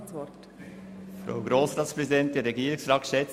Der Motionär hat noch einmal das Wort.